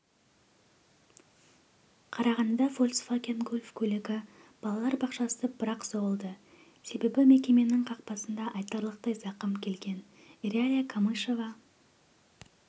қарағандыда фольксваген гольф көлігі балалар бақшасына бір-ақ соғылды себебі мекеменің қақпасына айтарлықтай зақым келген иралия камышева